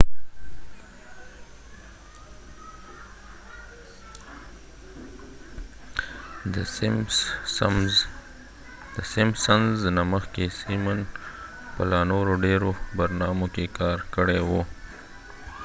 مخکې د simpsons نه simon په لا نورو ډیرو برنامو کې کار کړی وو